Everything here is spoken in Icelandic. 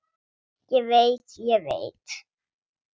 Ég veit, ég veit.